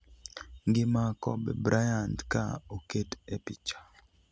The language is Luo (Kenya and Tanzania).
ngima Kobe Bryant ka oket e picha